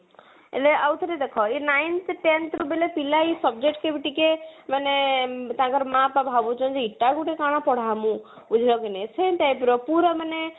ଏବେ ଆଉ ଥରେ ଦେଖ ଏଇ ninth tenth ବେଳେ ପିଲା ହି subject କୁ ହି ଟିକେ ମାନେ ଆଁ ତାଙ୍କର ମା ବାପା ଭାବୁଛନ୍ତି ତାଙ୍କୁ ଟେ କଣ ପଢାହବୁ ଉଁ ବୁଝିଲ କି ନାଇଁ ସେଇ type ର ପୁରା ମାନେ